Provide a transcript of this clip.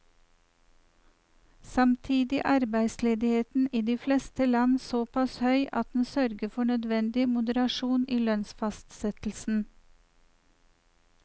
Samtidig er arbeidsledigheten i de fleste land såpass høy at den sørger for nødvendig moderasjon i lønnsfastsettelsen.